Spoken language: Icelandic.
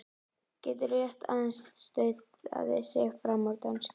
Getur rétt aðeins stautað sig fram úr dönsku.